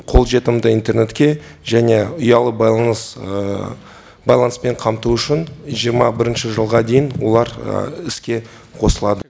қолжетімді интернетке және ұялы байланыс байланыспен қамту үшін жиырма бірінші жылға дейін олар іске қосылады